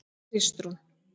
Kristrún